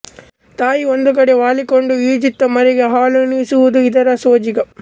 ತಾಯಿ ಒಂದು ಕಡೆ ವಾಲಿಕೊಂಡು ಈಜುತ್ತ ಮರಿಗೆ ಹಾಲುಣಿಸುವುದು ಇದರ ಸೋಜಿಗ